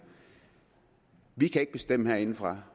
vi kan ikke bestemme det herindefra